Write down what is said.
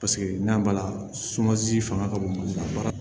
Paseke n'a b'a la sumansi fanga ka bon a ba